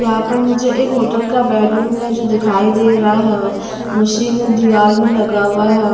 यहाँ पर मुझे एक होटल का बेडरूम है जो दिखाई दे रहा है मशीनें दीवार में लगा हुआ है।